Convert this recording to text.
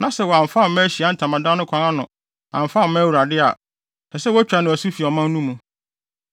na sɛ wamfa amma Ahyiae Ntamadan no kwan ano amfa amma Awurade a, ɛsɛ sɛ wotwa no asu fi ɔmanfo no mu.